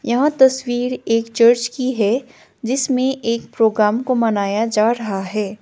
यह तस्वीर एक चर्च की है जिसमें एक प्रोग्राम को मनाया जा रहा है।